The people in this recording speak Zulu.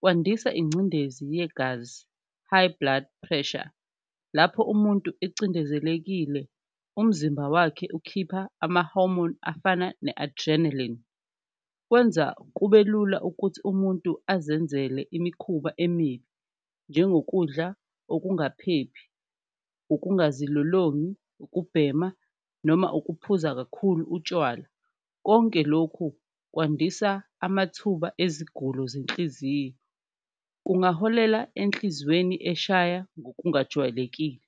kwandisa ingcindezi yegazi high blood pressure lapho umuntu icindezelekile umzimba wakhe ukhipha amahomoni afana ne-adrenaline. Kwenza kube lula ukuthi umuntu azenzele imikhuba emibi njengokudla okungaphephi, okungazilolongi, ukubhema noma ukuphuza kakhulu utshwala, konke lokhu kwandisa amathuba ezigulo zenhliziyo kungaholela enhliziyweni eshaya ngokungajwayelekile